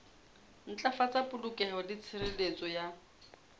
ntlafatsa polokeho le tshireletso ya